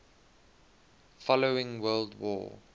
following world war